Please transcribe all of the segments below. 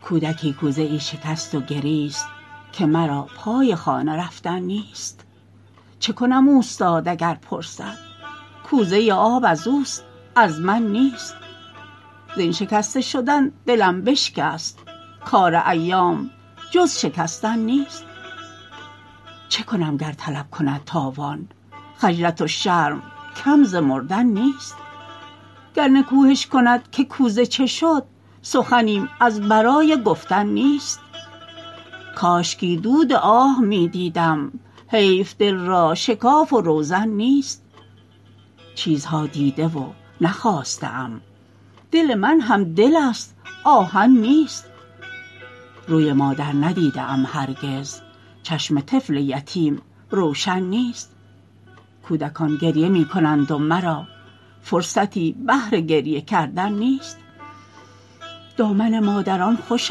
کودکی کوزه ای شکست و گریست که مرا پای خانه رفتن نیست چه کنم اوستاد اگر پرسد کوزه آب ازوست از من نیست زین شکسته شدن دلم بشکست کار ایام جز شکستن نیست چه کنم گر طلب کند تاوان خجلت و شرم کم ز مردن نیست گر نکوهش کند که کوزه چه شد سخنیم از برای گفتن نیست کاشکی دود آه میدیدم حیف دل را شکاف و روزن نیست چیزها دیده و نخواسته ام دل من هم دل است آهن نیست روی مادر ندیده ام هرگز چشم طفل یتیم روشن نیست کودکان گریه میکنند و مرا فرصتی بهر گریه کردن نیست دامن مادران خوش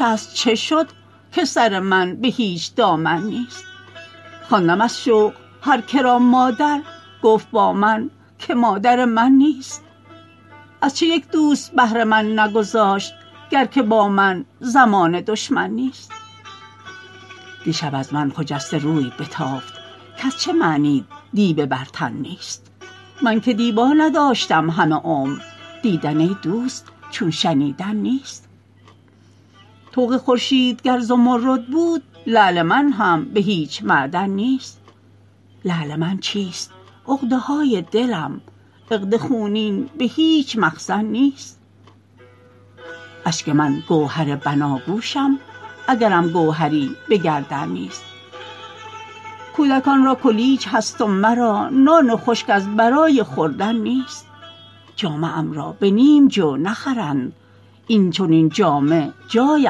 است چه شد که سر من بهیچ دامن نیست خواندم از شوق هر که را مادر گفت با من که مادر من نیست از چه یکدوست بهر من نگذاشت گر که با من زمانه دشمن نیست دیشب از من خجسته روی بتافت کاز چه معنیت دیبه بر تن نیست من که دیبا نداشتم همه عمر دیدن ای دوست چو شنیدن نیست طوق خورشید گر زمرد بود لعل من هم به هیچ معدن نیست لعل من چیست عقده های دلم عقد خونین بهیچ مخزن نیست اشک من گوهر بناگوشم اگرم گوهری به گردن نیست کودکان را کلیج هست و مرا نان خشک از برای خوردن نیست جامه ام را به نیم جو نخرند این چنین جامه جای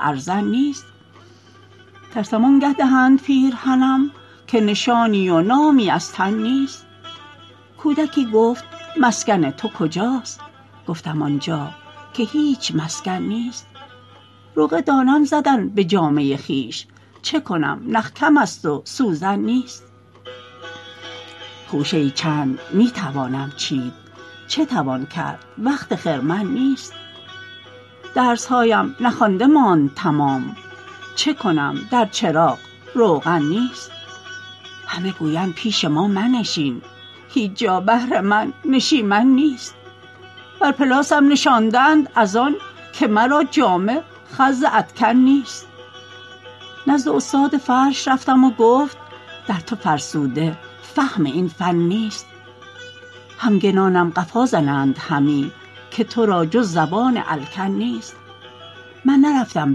ارزن نیست ترسم آنگه دهند پیرهنم که نشانی و نامی از تن نیست کودکی گفت مسکن تو کجاست گفتم آنجا که هیچ مسکن نیست رقعه دانم زدن به جامه خویش چه کنم نخ کم است و سوزن نیست خوشه ای چند میتوانم چید چه توان کرد وقت خرمن نیست درسهایم نخوانده ماند تمام چه کنم در چراغ روغن نیست همه گویند پیش ما منشین هیچ جا بهر من نشیمن نیست بر پلاسم نشانده اند از آن که مرا جامه خز ادکن نیست نزد استاد فرش رفتم و گفت در تو فرسوده فهم این فن نیست همگنانم قفا زنند همی که ترا جز زبان الکن نیست من نرفتم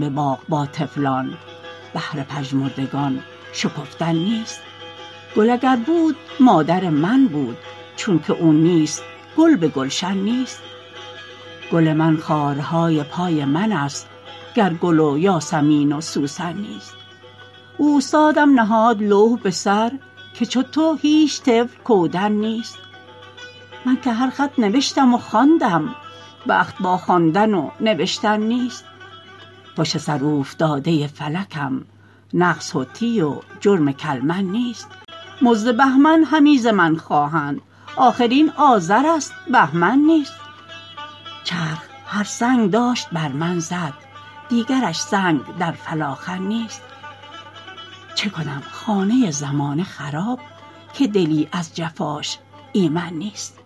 بباغ با طفلان بهر پژمردگان شکفتن نیست گل اگر بود مادر من بود چونکه او نیست گل بگلشن نیست گل من خارهای پای من است گر گل و یاسمین و سوسن نیست اوستادم نهاد لوح بسر که چو تو هیچ طفل کودن نیست من که هر خط نوشتم و خواندم بخت با خواندن و نوشتن نیست پشت سر اوفتاده فلکم نقص حطی و جرم کلمن نیست مزد بهمن همی ز من خواهند آخر این آذر است بهمن نیست چرخ هر سنگ داشت بر من زد دیگرش سنگ در فلاخن نیست چه کنم خانه زمانه خراب که دلی از جفاش ایمن نیست